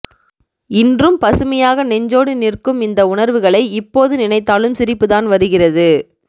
இன்றும் பசுமையாக நெஞ்சோடு நிற்கும் இந்த உணர்வுகளை இப்போது நினைத்தாலும் சிரிப்பு தான் வருகிறது